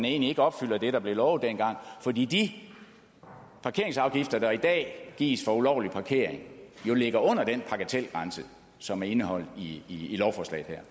egentlig ikke opfylder det der blev lovet dengang fordi de parkeringsafgifter der i dag gives for ulovlig parkering jo ligger under den bagatelgrænse som er indeholdt i lovforslaget